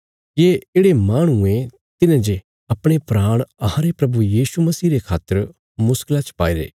ये येढ़े माहणु ये तिन्हें जे अपणे प्राण अहांरे प्रभु यीशु मसीह रे खातर मुश्कला च पाईरे